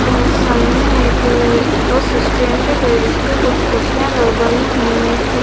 अह सामने एक bus stand है जिस पे कुछ कुर्सियां बनी हुई हैं।